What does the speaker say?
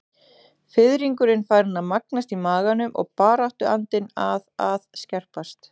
Fiðringurinn farinn að magnast í maganum og baráttuandinn að að skerpast.